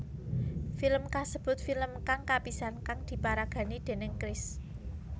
Film kasebut film kang kapisan kang diparagani déning Chris